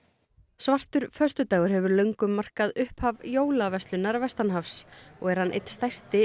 svartur föstudagur hefur löngum markað upphaf vestanhafs og er hann einn stærsti